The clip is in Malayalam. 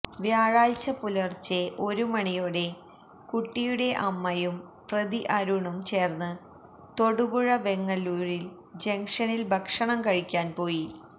വ്യാഴാഴ്ച പുലര്ച്ചെ ഒരുമണിയോടെ കുട്ടിയുടെ അമ്മയും പ്രതി അരുണും ചേര്ന്ന് തൊടുപുഴ വെങ്ങല്ലൂര് ജങ്ഷനില് ഭക്ഷണം കഴിക്കാന്പോയി